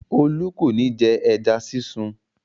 Olú kò ní jẹ ẹja sísun.